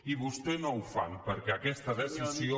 i vostès no ho fan perquè aquesta decisió